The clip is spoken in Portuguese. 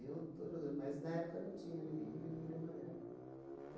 Eu estou jogando, mas na época não tinha ninguém vermelho e amarelo.